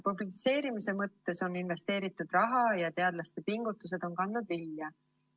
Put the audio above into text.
Publitseerimise mõttes on investeeritud raha ja teadlaste pingutused on kandnud vilja.